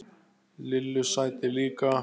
Lillu sæti líka.